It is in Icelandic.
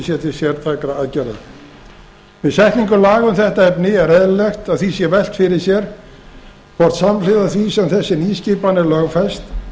sé til sértækra aðgerða við setningu laga um þetta efni er eðlilegt að því sé velt fyrir sér hvort samhliða því sem þessi nýskipan er lögfest